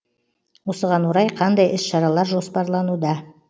осыған орай қандай іс шаралар жоспарлануда